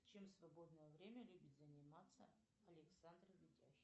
чем в свободное время любит заниматься александр видяхин